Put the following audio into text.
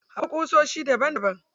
Akwai ƙusoshi daban daban.